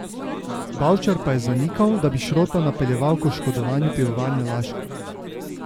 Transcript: Bavčar pa je zanikal, da bi Šrota napeljeval k oškodovanju Pivovarne Laško.